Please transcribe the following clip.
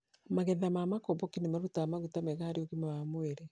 magetha ma makomboki nĩ marutaga maguta meega harĩ ũgima wa mũĩrĩ